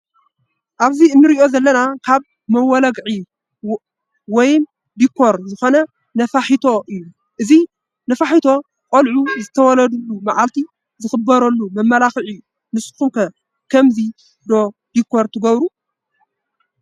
ኣብዚ እንርእዮ ዘለና ካብ መመላክዒ ወይም ዲኮር ዝኮነ ነፋሒቶ እዩ። እዚ ነፋሒቶ ን ቆልዑ ዝተወለድሉ መዓልቲ ዘክብርሉ መመላኪዒ እዩ። ንስኩም ከ ብከምዚ ዶ ዲኮር ትገብሩ?